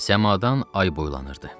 Səmadan ay boylanırdı.